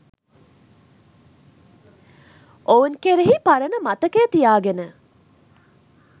ඔවුන් කෙරෙහි පරණ මතකය තියාගෙන